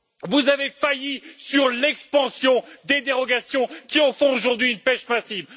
vous avez failli sur l'expansion des dérogations qui en font aujourd'hui une pêche massive.